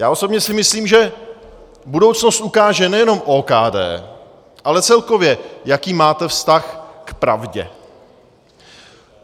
Já osobně si myslím, že budoucnost ukáže nejenom OKD, ale celkově, jaký máte vztah k pravdě.